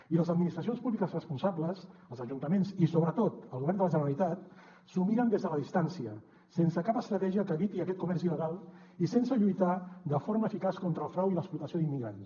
i les administracions públiques responsables els ajuntaments i sobretot el govern de la generalitat s’ho miren des de la distància sense cap estratègia que eviti aquest comerç il·legal i sense lluitar de forma eficaç contra el frau i l’explotació d’immigrants